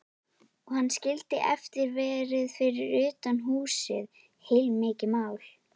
Og hann skildi eftir verði fyrir utan húsið, heilmikið mál.